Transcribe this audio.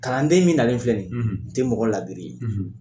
Kalanden min nalen filɛ ni ye o tɛ mɔgɔ ladiri ye.